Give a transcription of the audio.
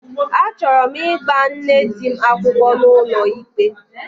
Achọrọ m ịgba nne di m akwụkwọ n'ụlọikpe